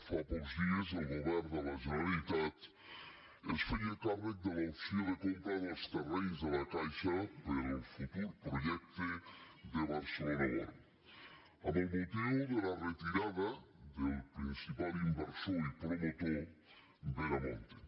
fa pocs dies el govern de la generalitat es feia càrrec de l’opció de compra dels terrenys de la caixa per al futur projecte de barce·lona world amb motiu de la retirada del principal in·versor i promotor veremonte